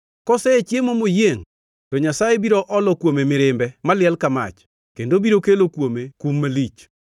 Kosechiemo moyiengʼ, to Nyasaye biro olo kuome mirimbe maliel ka mach, kendo biro kelo kuome kum malich.